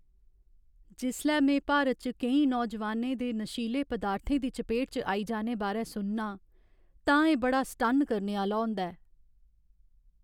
जिसलै में भारत च केईं नौजवानें दे नशीले पदार्थें दी चपेट च आई जाने बारै सुननां, तां एह् बड़ा सटन्न करने आह्‌ला होंदा ऐ।